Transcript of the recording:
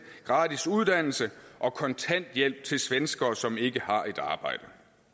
gratis uddannelse og kontanthjælp til svenskere som ikke har et arbejde